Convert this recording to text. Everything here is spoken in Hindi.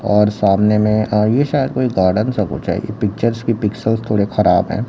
और सामने में अह ये शायद कोई गार्डन सा कुछ है ये पिक्चर्स के पिक्सेलस थोड़े खराब है।